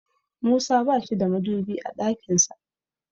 Musa bashi da madubi a ɗakin sa.